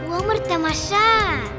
өмір тамаша